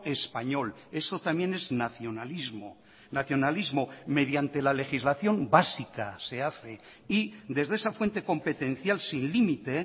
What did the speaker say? español eso también es nacionalismo nacionalismo mediante la legislación básica se hace y desde esa fuente competencial sin límite